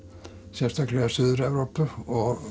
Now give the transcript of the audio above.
sérstaklega Suður Evrópu og